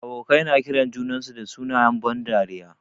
Abokai na kiran junansu da sunayen ban dariya.